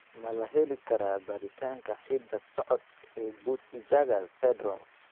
Ma la heli karaa baaritaanka hidda-socodka ee Peutz Jeghers syndrome?